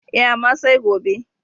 E, amma sai gobe.